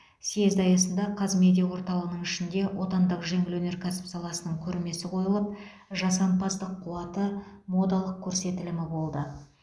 съезд аясында қазмедиа орталығының ішінде отандық жеңіл өнеркәсіп саласының көрмесі қойылып жасампаздық қуаты модалық көрсетілімі болды